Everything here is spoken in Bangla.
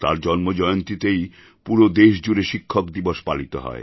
তাঁর জন্মজয়ন্তীতেই পুরো দেশ জুড়ে শিক্ষক দিবস পালিত হয়